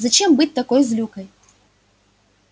зачем быть такой злюкой